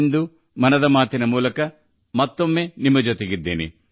ಇಂದು 'ಮನ್ ಕಿ ಬಾತ್' ನೊಂದಿಗೆ ನಾನು ಮತ್ತೆ ನಿಮ್ಮ ನಡುವೆ ಇದ್ದೇನೆ